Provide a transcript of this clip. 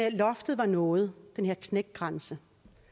at loftet var nået den her knækgrænse